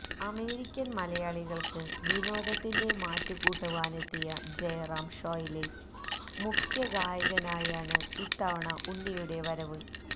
American മലയാളികൾക്ക് വിനോദത്തിന്റെ മാറ്റു കൂട്ടുവാനെത്തിയ ജയറാം ഷോയിലെ മുഖ്യ ഗായകനായാണ് ഇത്തവണ ഉണ്ണിയുടെ വരവ്